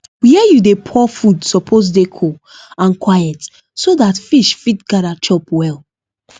where you dey pour food suppose dey cool and quiet so that fish fit gather chop well